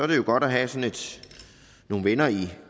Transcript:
det jo godt at have nogle venner i